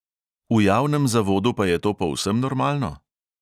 V javnem zavodu pa je to povsem normalno?